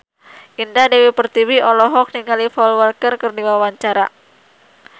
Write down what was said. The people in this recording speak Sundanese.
Indah Dewi Pertiwi olohok ningali Paul Walker keur diwawancara